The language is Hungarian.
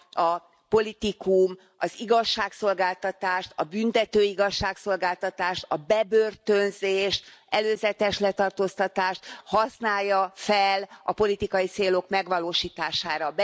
a politikum, az igazságszolgáltatást, a büntető igazságszolgáltatást, a bebörtönzést, előzetes letartóztatást használja fel a politikai célok megvalósítására.